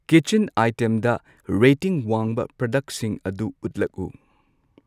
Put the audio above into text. Kitchen ꯑꯥꯏꯇꯦꯝꯗ rating ꯋꯥꯡꯕ ꯄ꯭ꯔꯗꯛꯁꯤꯡ ꯑꯗꯨ ꯎꯠꯂꯛꯎ꯫